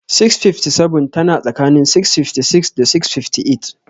657 tana tsakanin 656 da 658.